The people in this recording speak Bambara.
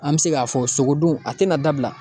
An bɛ se k'a fɔ sogo dun a tɛna dabila